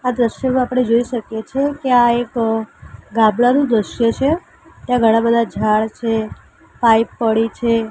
આ દ્રશ્યમાં આપડે જોઈ શકીએ છે કે આ એક ગામડાનું દ્રશ્ય છે ત્યાં ઘણા બધા ઝાડ છે પાઈપ પડી છે.